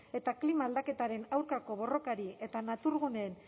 eta klima aldaketaren aurkako borrokari eta naturaguneen